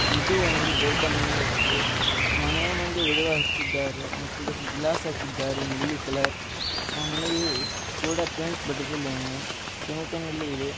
ಇದು ಒಂದು ದೊಡ್ಡ ಮನೆಯಾಗಿದೆ ಮನೆಯ ಮುಂದೆ ಗಿಡಗಳ ಹಚ್ಚಿದ್ದಾರೆ ಮತ್ತು ಗ್ಲಾಸ್ ಹಾಕಿದ್ದಾರೆ ನೀಲಿ ಕಲರ್ ಆ ಮನೆಗೆ ಗೋಡೆಗೆ ಪೈಂಟ್ ಬಡದಿಲ್ಲ ಇನ್ನು ಸಿಮಿಂಟಿ ನಲ್ಲಿ ಇದೆ .